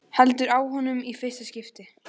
Heldur á honum í fyrsta skipti.